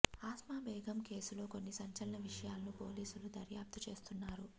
ఆస్మా బేగం కేసులో కొన్ని సంచలన విషయాలను పోలీసులు దర్యాప్తు చేస్తున్నారు